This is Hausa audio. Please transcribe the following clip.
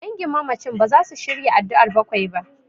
Dangin mamacin baza su shirya addu'ar bakwai ba.